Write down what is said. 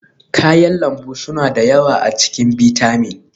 kayan lambu suna da yawa a cikin bitamin